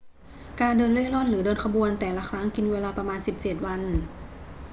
การเดินเร่ร่อนหรือเดินขบวนแต่ละครั้งกินเวลาประมาณ 17 วัน